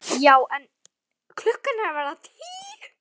Já en. klukkan er að verða tíu!